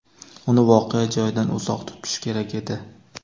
Uni voqea joyidan uzoq tutish kerak edi.